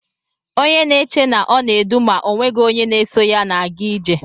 Onye na-eche na ọ na-edu ma ọ nweghị onye na-eso ya na-aga ije.